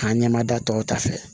K'a ɲɛ ma da tɔw ta fɛ